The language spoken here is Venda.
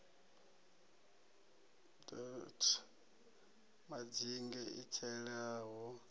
d t madzinge i tselaho